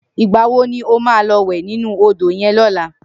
Nigbá wó ni ó má lò wè ninú ódó yèn lòlá?